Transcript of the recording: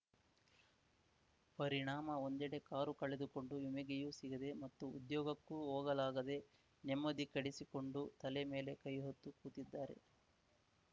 ಪರಿಣಾಮ ಒಂದೆಡೆ ಕಾರು ಕಳೆದುಕೊಂಡು ವಿಮಗೆಯೂ ಸಿಗದೆ ಮತ್ತು ಉದ್ಯೋಗಕ್ಕೂ ಹೋಗಲಾಗದೇ ನೆಮ್ಮದಿ ಕಡೆಸಿಕೊಂಡು ತಲೆ ಮೇಲೆ ಕೈಹೊತ್ತು ಕೂತಿದ್ದಾರೆ